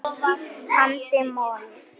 andi moll.